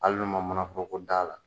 Ali n'u ma manan foroko d'ala